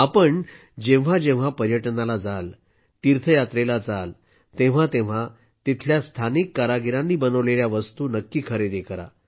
आपण जेव्हा जेव्हा पर्यटनाला जाल तीर्थयात्रेला जाल तेव्हा तेव्हा तिथल्या स्थानिक कारागिरांनी बनवलेल्या वस्तू नक्की खरेदी करा